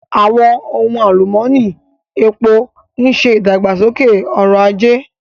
Àwọn ohun alumọni, epo ń ṣe ìdàgbàsókè ọrọ̀ ajé.